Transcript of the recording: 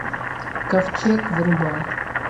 ковчег врубай